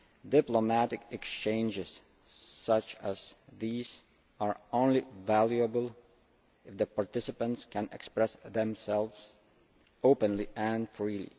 Diplomatic exchanges such as these are only valuable if the participants can express themselves openly and freely.